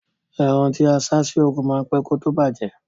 Ẹran tí a sá sí oòrùn ma ń pẹ́ kí ó tó bàjẹ́